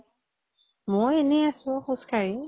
মই এনে আছো খোজ কাঢ়ি।